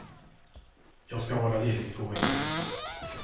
Jag ska vara ledig i två veckor nu.